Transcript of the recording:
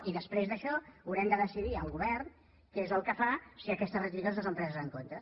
i després d’això haurem de decidir el govern què és el que fa si aquestes rectificacions no són preses en compte